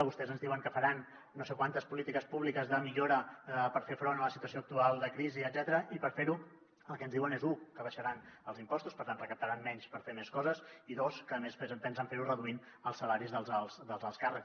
vostès ens diuen que faran no sé quantes polítiques públiques de millora per fer front a la situació actual de crisi etcètera i per fer ho el que ens diuen és u que abaixaran els impostos per tant recaptaran menys per fer més coses i dos que a més pensen fer ho reduint els salaris dels alts càrrecs